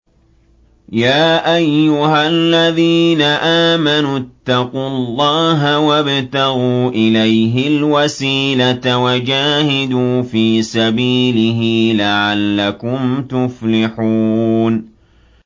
يَا أَيُّهَا الَّذِينَ آمَنُوا اتَّقُوا اللَّهَ وَابْتَغُوا إِلَيْهِ الْوَسِيلَةَ وَجَاهِدُوا فِي سَبِيلِهِ لَعَلَّكُمْ تُفْلِحُونَ